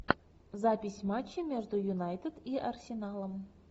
запись матча между юнайтед и арсеналом